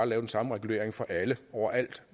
lave den samme regulering for alle over alt